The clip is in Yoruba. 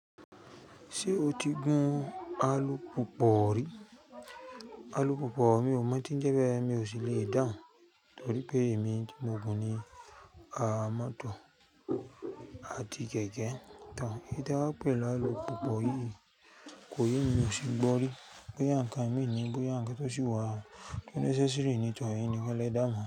Ṣé o ti gun alupùpù rí? Alupùpù; mi ò mọ̀ tí ń jẹ́ bé, mi ò sí lè dáhun, torí pé èmi tí mo gùn ní mọ̀tọ̀ àti kẹ̀kẹ́. Ìtẹ́ wa pẹ̀ la alupùpù yìí kò yé mi, mì o si gbọ́ rí. Bo ya ǹkan ìmi ní, bóyá ǹkan tí ó sì wà tó nẹ́sẹ́sẹrì nítorí ènìyàn kò lè dán mọ́